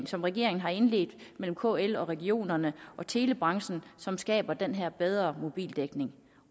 som regeringen har indledt med kl regionerne og telebranchen som skaber den her bedre mobildækning